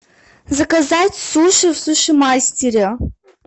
заказать суши в суши мастере